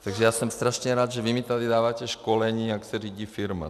Takže já jsem strašně rád, že vy mi tady dáváte školení, jak se řídí firma.